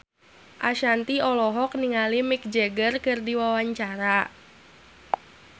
Ashanti olohok ningali Mick Jagger keur diwawancara